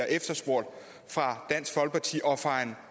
efterspurgt fra dansk folkeparti og fra en